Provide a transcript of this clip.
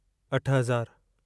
अठ हज़ारु